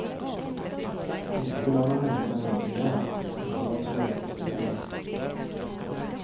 Inte hurdana människorna egentligen är, inte vad som är rätt eller fel.